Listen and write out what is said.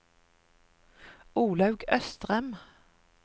Olaug Østrem